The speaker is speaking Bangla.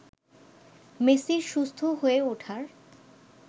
মেসির সুস্থ হয়ে ওঠার